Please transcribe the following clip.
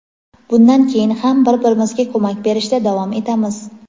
"Bundan keyin ham bir-birimizga ko‘mak berishda davom etamiz".